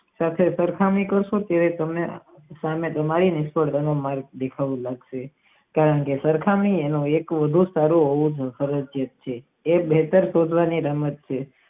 સરખે સરખાની તમને ખણા નિષ્ફળ બનવા મારગ બતાવેલા છે કારણ કે સરખા ની મુળભુતી ખુબજ સારી હોવી જરૂરી છે એ બ્રેકરૂપ રમત છે.